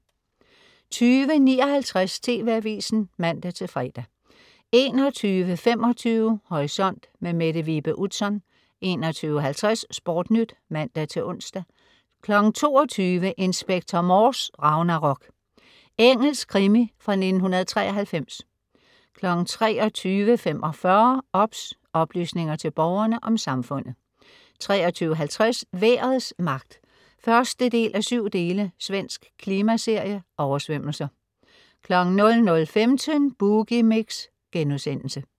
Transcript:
20.59 TV AVISEN (man-fre) 21.25 Horisont. Mette Vibe Utzon 21.50 SportNyt (man-ons) 22.00 Inspector Morse: Ragnarok. Engelsk krimi fra 1993 23.45 OBS. Oplysninger til Borgerne om Samfundet 23.50 Vejrets magt 1:7. Svensk klimaserie. Oversvømmelser 00.15 Boogie Mix*